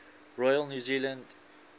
royal new zealand